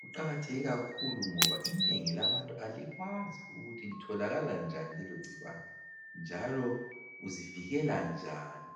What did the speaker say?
Kuqakatheke kakhulu ngoba inengi labantu alikwazi ukuthi litholakala njani lelogcikwane njalo uzivikela njani.